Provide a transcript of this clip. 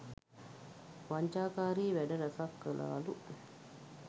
වංචාකාරී වැඩ රැසක් කළාලු